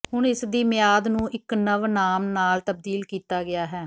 ਹੁਣ ਇਸ ਦੀ ਮਿਆਦ ਨੂੰ ਇੱਕ ਨਵ ਨਾਮ ਨਾਲ ਤਬਦੀਲ ਕੀਤਾ ਗਿਆ ਹੈ